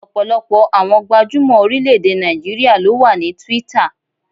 Ọ̀pọ̀lọpọ̀ àwọn gbajúmọ̀ orílẹ̀-èdè Nàìjíríà ló wà ní Twitter.